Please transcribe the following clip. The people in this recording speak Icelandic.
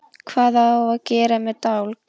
Hvað á að gera með dálk?